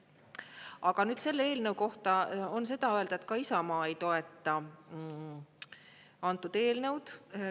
Aga nüüd selle eelnõu kohta on seda öelda, et ka Isamaa ei toeta antud eelnõu.